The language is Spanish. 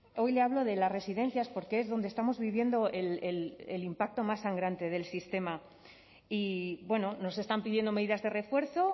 hoy le hablo de las residencias porque es donde estamos viviendo el impacto más sangrante del sistema y bueno nos están pidiendo medidas de refuerzo